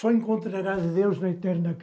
Só encontrarás Deus na eterna